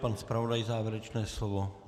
Pan zpravodaj závěrečné slovo?